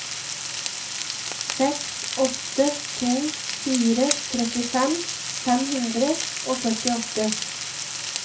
seks åtte to fire trettifem fem hundre og førtiåtte